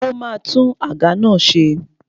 Ó ma tún àga náà ṣe.